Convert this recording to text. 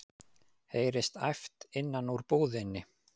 heyrist æpt innan úr búðinni.